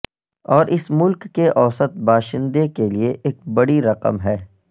اور اس ملک کے اوسط باشندے کے لئے ایک بڑی رقم ہے